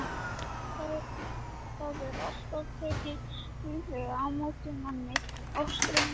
Það er alltaf tekið hlýlega á móti manni á Straumum.